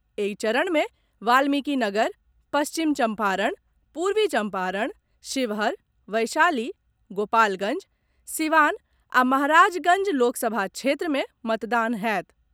एहि चरण मे वाल्मीकिनगर, पश्चिम चंपारण, पूर्वी चंपारण, शिवहर, वैशाली, गोपालगंज, सिवान आ महाराजगंज लोकसभा क्षेत्र मे मतदान होयत।